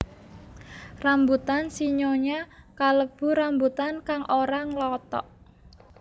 Rambutan sinyonya kalebu rambutan kang ora nglothok